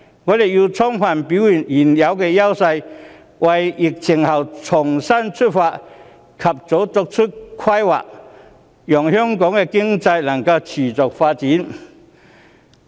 香港要充分表現出現有的優勢，為疫情後的重新出發及早規劃，讓香港的經濟能夠持續發展。